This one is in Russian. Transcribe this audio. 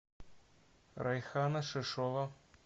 райхана шишова